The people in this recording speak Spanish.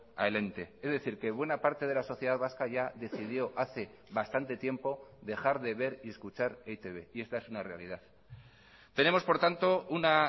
al ente es decir que buena parte de la sociedad vasca ya decidió hace bastante tiempo dejar de ver y escuchar e i te be y esta es una realidad tenemos por tanto una